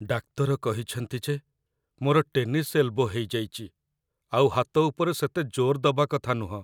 ଡାକ୍ତର କହିଛନ୍ତି ଯେ ମୋର ଟେନିସ୍ ଏଲ୍‌ବୋ ହେଇଯାଇଚି, ଆଉ ହାତ ଉପରେ ସେତେ ଜୋର୍ ଦବା କଥା ନୁହଁ ।